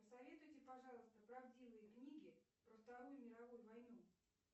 посоветуйте пожалуйста правдивые книги про вторую мировую войну